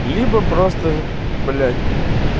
либо просто блять